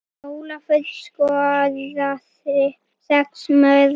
Ólafur skoraði sex mörk.